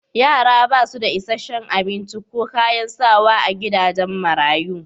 Yara ba su da isashen abinci ko kayan sawa a gidajen marayu